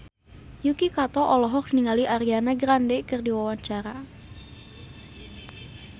Yuki Kato olohok ningali Ariana Grande keur diwawancara